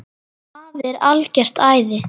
Afi er algert æði.